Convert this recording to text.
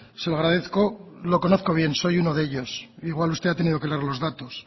se lo agradezco lo conozco bien soy uno de ellos igual usted ha tenido que leer los datos